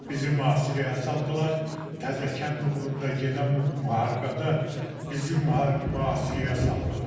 Bizi mühasirəyə saldılar, Təzəkənd uğrunda gedən müharibədə bizi mühasirəyə saldılar.